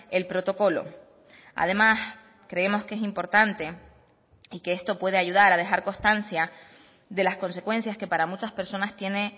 el protocolo además creemos que es importante y que esto puede ayudar a dejar constancia de las consecuencias que para muchas personas tiene